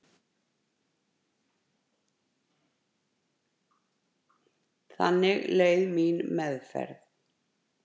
Þannig leið mín meðferð.